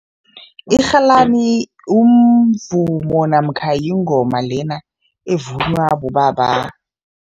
Irhalani umvumo namkha yingoma lena evunywa bobaba.